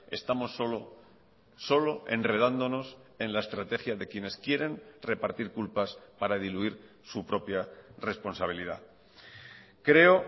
estamos solo solo enredándonos en la estrategia de quienes quieren repartir culpas para diluir su propia responsabilidad creo